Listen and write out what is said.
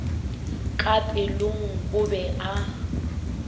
ka pelong o be a